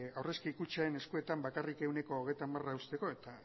aurrezki kutxen eskuetan bakarrik ehuneko hogeita hamar usteko eta